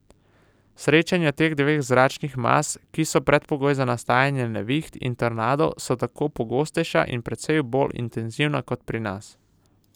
Srečanja teh dveh zračnih mas, ki so predpogoj za nastajanje neviht in tornadov, so tako pogostejša in precej bolj intenzivna kot pri nas.